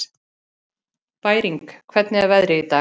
Bæring, hvernig er veðrið í dag?